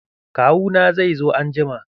Kawu na zai zo anjima.